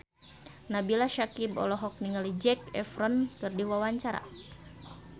Nabila Syakieb olohok ningali Zac Efron keur diwawancara